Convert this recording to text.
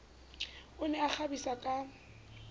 o ne a ikgabisa ka